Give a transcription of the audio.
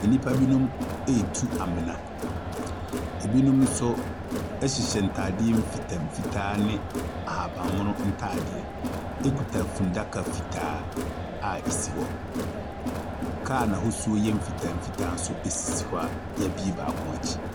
Nnipa binom retu amena. Binom nso hyehyɛ ntadeɛ mfitamfitaa ne ahaban mono ntadeɛ, kuta fundaka fitaa a ɛsi hɔ. Kaa a n'ahosuo yɛ mfitamfitaa nso sisi hɔ a wɔabue baako akyi.